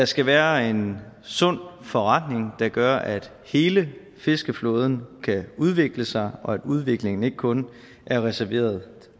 skal være en sund forretning der gør at hele fiskeflåden kan udvikle sig og at udviklingen ikke kun er reserveret